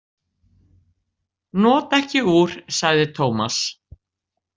Nota ekki úr, sagði Tómas.